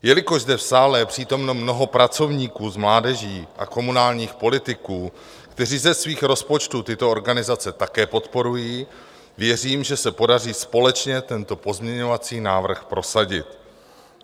Jelikož zde v sále je přítomno mnoho pracovníků s mládeží a komunálních politiků, kteří ze svých rozpočtů tyto organizace také podporují, věřím, že se podaří společně tento pozměňovací návrh prosadit.